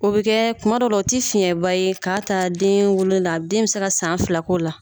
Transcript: O bɛ kɛ kuma dɔw la o ti fiɲɛba ye k'a ta den wolo la den mi se ka san fila k'o la.